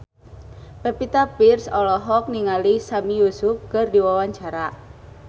Pevita Pearce olohok ningali Sami Yusuf keur diwawancara